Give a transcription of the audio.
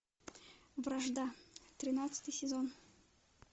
вражда тринадцатый сезон